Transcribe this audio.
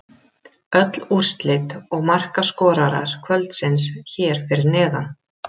Öll úrslit og markaskorarar kvöldsins hér fyrir neðan: